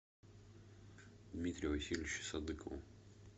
дмитрию васильевичу садыкову